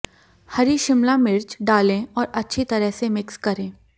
हरी शिमला मिर्च डालें और अच्छी तरह से मिक्स करें